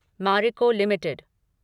Marico limited